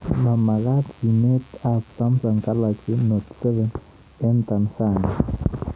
Ma magaat simet ab Sumsung Galaxy Note 7 eng Tansania